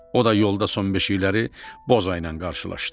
O da yolda son beşikləri Bozayla qarşılaşdı.